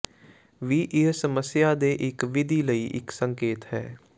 ਵੀ ਇਹ ਸਮੱਸਿਆ ਦੇ ਇੱਕ ਵਿਧੀ ਲਈ ਇੱਕ ਸੰਕੇਤ ਹੈ